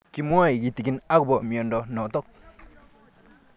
Kimwae kitig'in akopo miondo notok